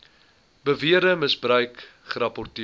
beweerde misbruik gerapporteer